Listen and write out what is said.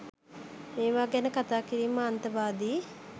මේවා ගැන කතා කිරීම අන්තවාදී